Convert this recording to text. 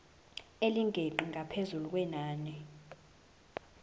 elingeqi ngaphezu kwenani